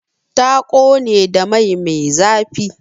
Ta ƙone da mai me zafi.